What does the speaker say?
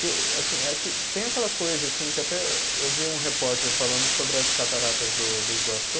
é que, tem aquela coisa assim que até eu vi um repórter falando sobre as cataratas do do Iguaçu.